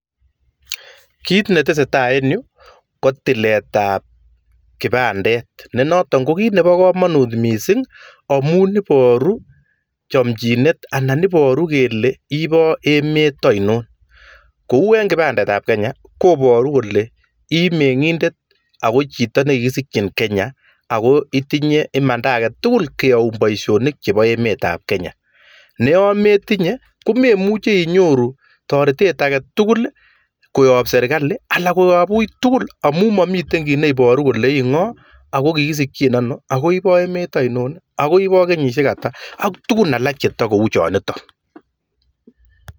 Kit netesetai en yu koboru akobo tilet ab kipandet ako tinye kamanutyet neu kenyor boroindo en emet